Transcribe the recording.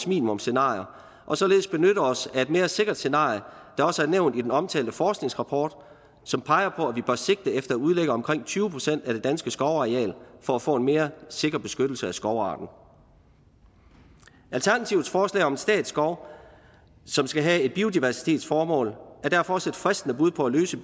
minimumsscenarier og således benytte os af et mere sikkert scenarie der også er nævnt i den omtalte forskningsrapport som peger på at vi bør sigte efter at udlægge omkring tyve procent af det danske skovareal for at få en mere sikker beskyttelse af skovarten alternativets forslag om en statsskov som skal have et biodiversitetsformål er derfor også et fristende bud på at løse